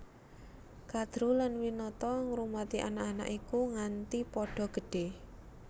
Kadru lan Winata ngrumati anak anak iku nganti padha gedhé